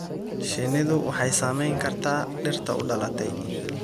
Shinnidu waxay saamayn kartaa dhirta u dhalatay.